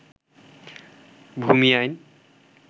ভূমি আইন